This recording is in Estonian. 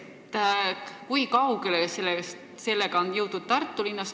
Kui kaugele sellega on Tartus jõutud?